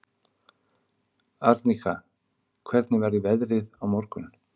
Arnika, hvernig verður veðrið á morgun?